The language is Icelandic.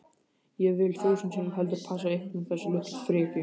Ég vil þúsund sinnum heldur passa ykkur en þessa litlu frekju